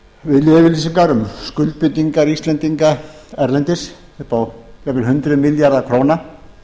viljayfirlýsingar um skuldbindingar íslendinga erlendis upp á jafnvel hundruð milljarða króna